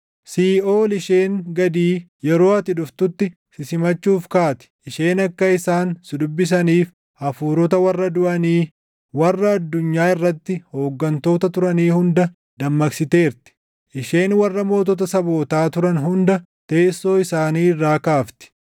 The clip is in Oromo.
Siiʼool isheen gadii yeroo ati dhuftutti si simachuuf kaati; isheen akka isaan si dubbisaniif hafuurota warra duʼanii, warra addunyaa irratti hooggantoota turanii hunda dammaqsiteerti; isheen warra mootota sabootaa turan hunda teessoo isaanii irraa kaafti.